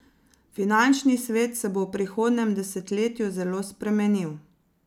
Finančni svet se bo v prihodnjem desetletju zelo spremenil.